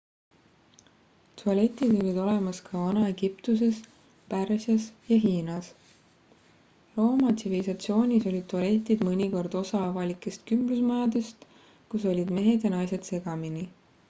tualetid olid olemas ka vana-egiptuses pärsias ja hiinas rooma tsivilisatsioonis olid tualetid mõnikord osa avalikest kümblusmajadest kus olid mehed ja naised segamini